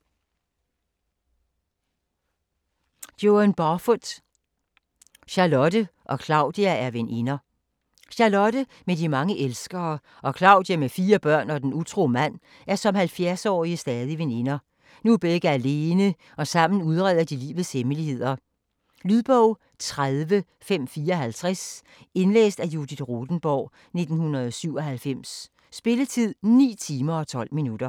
Barfoot, Joan: Charlotte og Claudia er veninder Charlotte med de mange elskere og Claudia med fire børn og den utro mand er som 70-årige stadig veninder. Nu er begge alene, og sammen udreder de livets hemmeligheder. Lydbog 30554 Indlæst af Judith Rothenborg, 1997. Spilletid: 9 timer, 12 minutter.